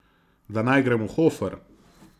Da naj grem v Hofer.